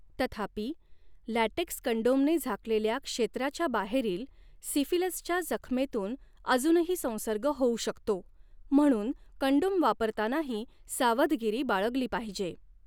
तथापि, लॅटेक्स कंडोमने झाकलेल्या क्षेत्राच्या बाहेरील सिफिलिसच्या जखमेतून अजूनही संसर्ग होऊ शकतो, म्हणून कंडोम वापरतानाही सावधगिरी बाळगली पाहिजे.